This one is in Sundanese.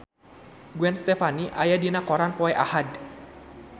Gwen Stefani aya dina koran poe Ahad